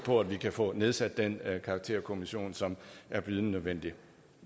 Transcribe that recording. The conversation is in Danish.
på at vi kan få nedsat den karakterkommission som er bydende nødvendig